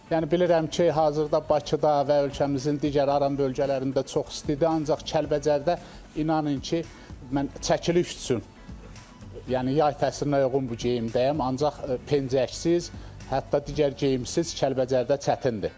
Yəni bilirəm ki, hazırda Bakıda və ölkəmizin digər aran bölgələrində çox istidir, ancaq Kəlbəcərdə inanın ki, mən çəkiliş üçün yəni yay təsirinə uyğun bu geyimdəyəm, ancaq pencəksiz, hətta digər geyimsiz Kəlbəcərdə çətindir.